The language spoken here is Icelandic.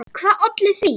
Hvað olli því?